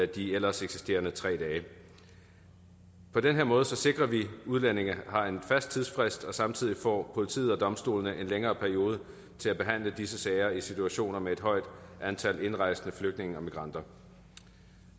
de ellers eksisterende tre dage på den her måde sikrer vi at udlændinge har en fast tidsfrist og samtidig får politiet og domstolene en længere periode til at behandle disse sager i situationer med et højt antal indrejsende flygtninge og migranter